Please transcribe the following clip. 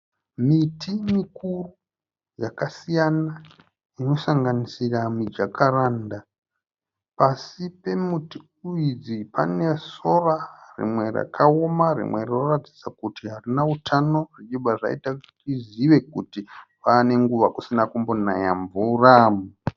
Miti mikuru yakasiyana inosanganisira mijakaranda. Pasi pemiti idzi pane sora rimwe rakaoma rimwe rinoratidza kuti harina utano zvichibva zvaita kuti tizive kuti pave nenguva refu kusina kumbonaya mvura.